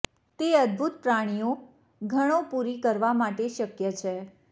તે અદ્ભુત પ્રાણીઓ ઘણો પૂરી કરવા માટે શક્ય છે